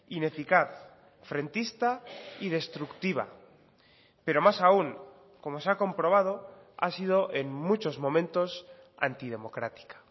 ineficaz frentista y destructiva pero más aún como se ha comprobado ha sido en muchos momentos antidemocrática